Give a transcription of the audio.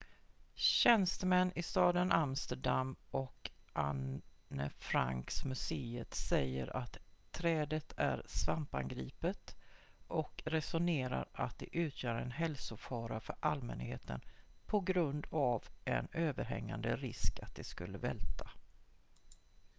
tjänstemän i staden amsterdam och anne frank-museet säger att trädet är svampangripet och resonerar att det utgör en hälsofara för allmänheten på grund av en överhängande risk att det skulle välta